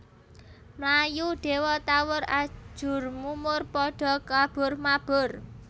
Mlayu Dewa tawur ajurmumurPadha kaburmabur